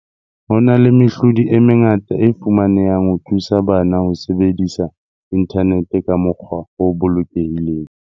Ho na le mehlodi e mengata e fumanehang ho thusa bana ho sebedisa inthanete ka mokgwa o bolokehileng.